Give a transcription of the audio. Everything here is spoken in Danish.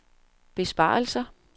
besparelser